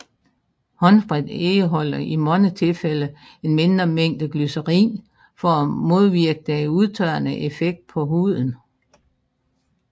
Håndsprit indeholder i mange tilfælde en mindre mængde glycerin for at modvirke den udtørrende effekt på huden